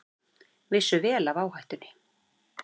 Vissu vel af áhættunni